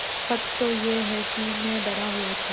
सच तो यह है कि मैं डरा हुआ था